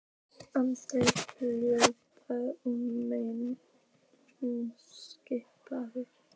Andri hjólaði á meðan hún sippaði.